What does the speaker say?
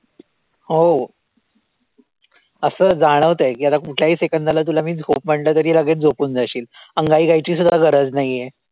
हो असं जाणवतयं की आता कुठल्याही second ला तुला मी झोप म्हंटलं तरी लगेच झोपून जाशील अंगाई गायची सुद्धा गरज नाहीये.